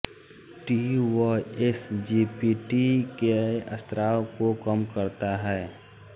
T व S G P T के स्राव को कम करता है